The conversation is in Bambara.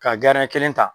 Ka kelen ta